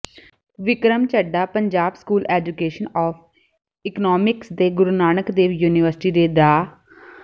Vikram Chadha Punjab School Education of Economics ਤੇ Guru Nanak Dev University ਦੇ ਡਾ